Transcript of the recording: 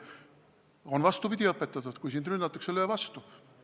Mind on vastupidi õpetatud: kui sind rünnatakse, löö vastu.